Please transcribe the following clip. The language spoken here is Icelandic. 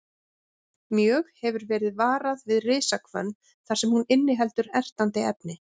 Mjög hefur verið varað við risahvönn þar sem hún inniheldur ertandi efni.